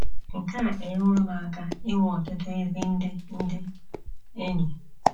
Nke a enyeworo m aka inwe ọtụtụ ezi ndị ndị enyi.